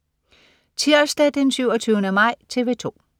Tirsdag den 27. maj - TV 2: